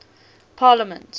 parliaments